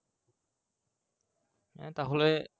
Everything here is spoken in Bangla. হ্যাঁ তাহলে